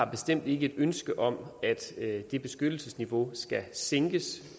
bestemt ikke et ønske om at det beskyttelsesniveau skal sænkes